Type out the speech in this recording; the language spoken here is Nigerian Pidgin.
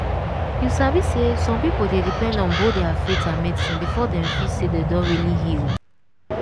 you sabi say some people dey depend on both their faith and medicine before dem feel say dem don really heal.